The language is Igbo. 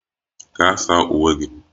Gaa saa uwe gị!